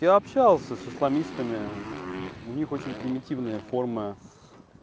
я общался с исламистами у них очень примитивная форма